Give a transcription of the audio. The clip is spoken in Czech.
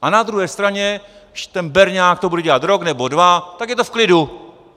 A na druhé straně když ten berňák to bude dělat rok nebo dva, tak je to v klidu.